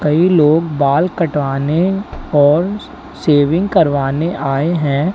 कई लोग बाल कटवाने और सेविंग करवाने आए हैं।